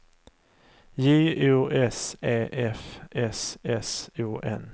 J O S E F S S O N